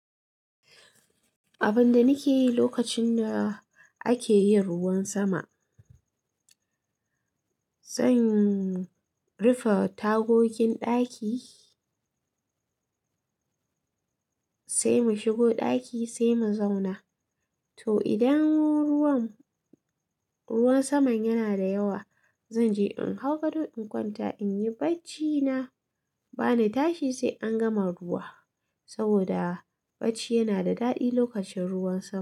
Abinda nike yi lokacin da akeyin ruwan sama, zan rufe tagogin ɗaki sai mu shigo ɗaki sai mu zauna. To idan ruwan saman yana da yawa, zan je in hau gado in kwanta in yi bacci na bani tashi sai an gama ruwa. Saboda bacci yana da daɗi lokacin ruwan sama.